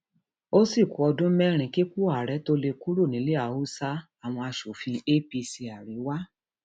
ó sì ku ọdún mẹrin kípò àárẹ tóo lè kúrò nílẹ haúsá àwọn asòfin apc àríwá